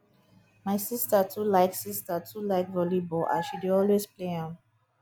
my sister too like sister too like volleyball and she dey also play am